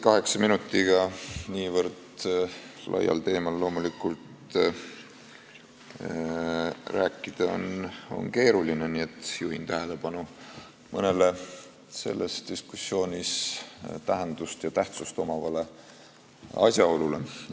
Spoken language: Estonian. Kaheksa minutiga niivõrd laial teemal midagi ära öelda on loomulikult keeruline, nii et juhin tähelepanu mõnele selles diskussioonis tähendust ja tähtsust omavale asjaolule.